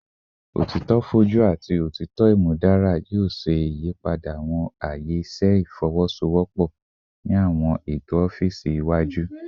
Otitọ foju ati otitọ imudara yoo ṣe iyipada awọn aaye iṣẹ ifowosowopo ni awọn eto ọfiisi iwaju